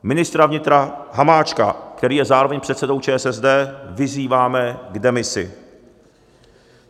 Ministra vnitra Hamáčka, který je zároveň předsedou ČSSD, vyzýváme k demisi.